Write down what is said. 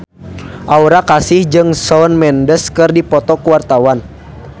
Aura Kasih jeung Shawn Mendes keur dipoto ku wartawan